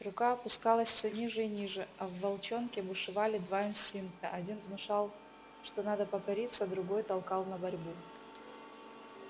рука опускалась всё ниже и ниже а в волчонке бушевали два инстинкта один внушал что надо покориться другой толкал на борьбу